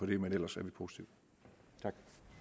det men ellers er vi positive